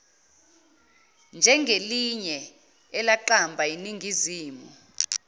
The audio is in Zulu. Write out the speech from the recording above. njengelinye elaqamba yiningizimu